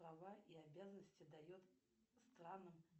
права и обязанности дает странам